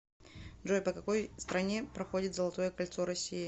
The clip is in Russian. джой по какой стране проходит золотое кольцо россии